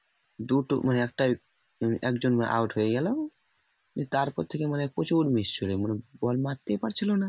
দু মানে একজন out হয়ে গেলো তারপর থেকে মানে প্রচুর মানে ball মারতেই পারছিল না